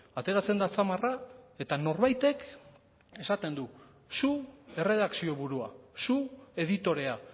ateratzen da atzamarra eta norbaitek esaten du zu erredakzio burua zu editorea